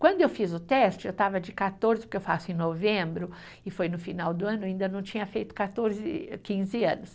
Quando eu fiz o teste, eu estava de quatorze, porque eu faço em novembro, e foi no final do ano, ainda não tinha feito quatorze, quinze anos.